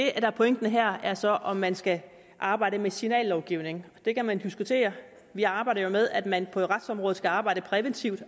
er pointen her er så om man skal arbejde med signallovgivning det kan man diskutere vi arbejder jo med at man på retsområdet skal arbejde præventivt